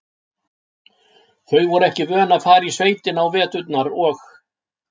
Þau voru ekki vön að fara í sveitina á veturna og